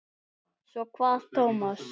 Svo kvað Tómas.